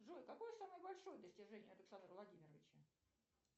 джой какое самое большое достижение александра владимировича